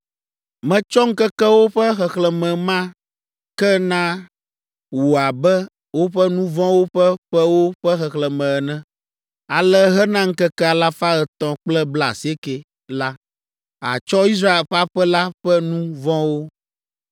Metsɔ ŋkekewo ƒe xexlẽme ma ke na wò abe woƒe nu vɔ̃wo ƒe ƒewo ƒe xexlẽme ene. Ale hena ŋkeke alafa etɔ̃ kple blaasieke (390) la, àtsɔ Israel ƒe aƒe la ƒe nu vɔ̃wo.